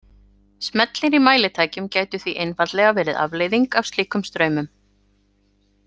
Smellir í mælitækjum gætu því einfaldlega verið afleiðing af slíkum straumum.